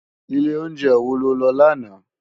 Ilé óunjè wó ló lò làná?